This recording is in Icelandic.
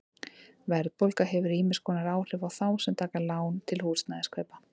Verðbólga hefur ýmiss konar áhrif á þá sem taka lán til húsnæðiskaupa.